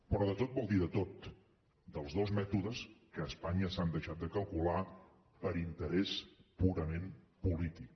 però de tot vol dir de tot dels dos mètodes que a españa s’han deixat de calcular per interès purament polític